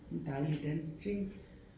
En dejlig dansk ting